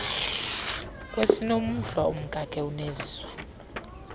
kwesiinomhlwa umkakhe uneziswa